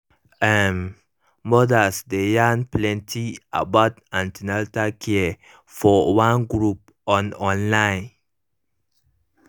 um mothers dey yarn plenty about an ten atal care for one group on online